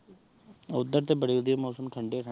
ਓਹ੍ਦਰ ਤੇਹ ਬੜੇ ਵਾਦਿਯ ਮੌਸਮ ਠੰਡੇ ਠੰਡੇ